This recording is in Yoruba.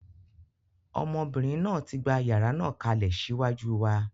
Ọmọbìnrin náà tí gbà yàrá náà kalẹ̀ ṣíwájú wa.